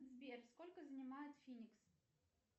сбер сколько занимает финикс